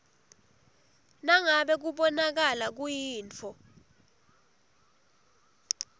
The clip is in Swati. nangabe kubonakala kuyintfo